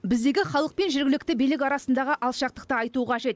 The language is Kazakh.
біздегі халық пен жергілікті билік арасындағы алшақтықты айту қажет